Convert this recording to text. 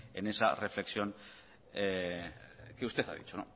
en esa reflexión que usted ha dicho